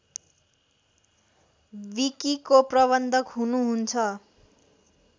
विकिको प्रबन्धक हुनुहुन्छ